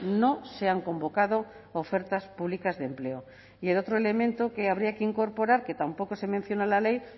no se han convocado ofertas públicas de empleo y el otro elemento que habría que incorporar que tampoco se menciona en la ley